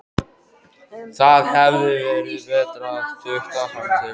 Það hefði verið betra að tukta hann til.